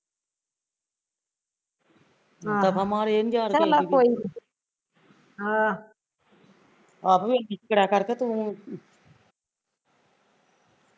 ਦਫਾ ਮਾਰ ਇਹ ਨੀ ਯਾਰ ਕਿਸੇ ਦੀ ਆਪ ਏਹੀ ਕਰਿਆ ਕਰ ਤੂ